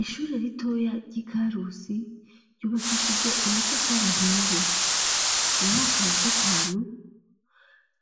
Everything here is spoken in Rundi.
Ishure ritoya ry'i Karusi ryubakishije amatafari ahiye. Mu mwaka wa gatanu,